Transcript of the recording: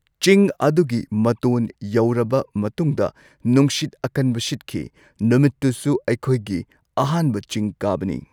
ꯆꯤꯡ ꯑꯗꯨꯒꯤ ꯃꯇꯣꯟ ꯌꯧꯔꯕ ꯃꯇꯨꯡꯗ ꯅꯨꯡꯁꯤꯠ ꯑꯀꯟꯕ ꯁꯤꯠꯈꯤ ꯅꯨꯃꯤꯠꯇꯨꯁꯨ ꯑꯩꯈꯣꯏꯒꯤ ꯑꯍꯥꯟꯕ ꯆꯤꯡ ꯀꯥꯕꯅꯤ꯫